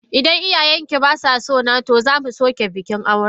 Idan iyayen ki ba sa so na, to za mu soke bikin aure.